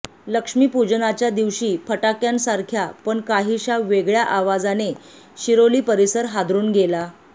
लक्ष्मी पूजनाच्या दिवशी फटाक्यांसारख्या पण काहीशा वेगळ्या आवाजाने शिरोली परिसर हादरुन गेला